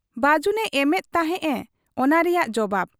ᱵᱟᱹᱡᱩᱱ ᱮᱢᱮᱫ ᱛᱟᱦᱮᱸᱫ ᱮ ᱚᱱᱟ ᱨᱮᱭᱟᱜ ᱡᱚᱵᱟᱵᱽ ᱾